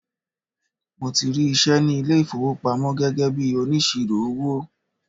Mo ti rí iṣẹ́ ní ilé ìfowópamọ́ gẹ́gẹ́ bíi onísirò owó.